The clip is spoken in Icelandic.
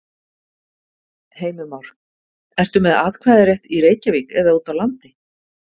Heimir Már: Ertu með atkvæðarétt í Reykjavík eða út á landi?